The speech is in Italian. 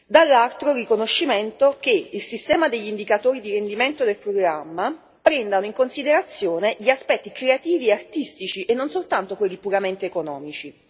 Dall'altro, il riconoscimento che il sistema degli indicatori di rendimento del programma prendano in considerazione gli aspetti creativi e artistici, e non solo quelli puramente economici.